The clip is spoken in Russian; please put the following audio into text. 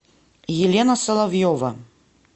елена соловьева